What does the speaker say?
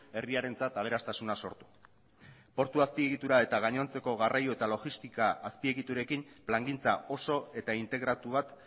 herriarentzat aberastasuna sortu portu azpiegitura eta gainontzeko garraio eta logistika azpiegiturekin plangintza oso eta integratu bat